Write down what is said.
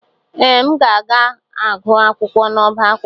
Ee, m ga-agụ akwụkwọ n'ọbá akwụkwọ.